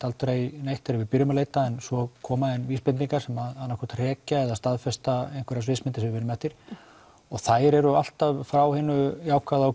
aldrei neitt þegar við byrjum að leita en svo koma inn vísbendingar sem annað hvort hrekja eða staðfesta einhverja sviðsmynd sem við vinnum eftir og þær eru alltaf frá hinu jákvæða og